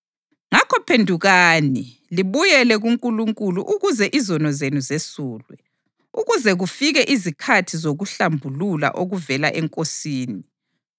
Ngakho phendukani, libuyele kuNkulunkulu ukuze izono zenu zesulwe, ukuze kufike izikhathi zokuhlambulula okuvela eNkosini,